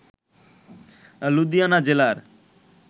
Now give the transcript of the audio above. লুধিয়ানা জেলার